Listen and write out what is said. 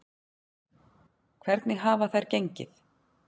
Hvernig hafa þær gengið?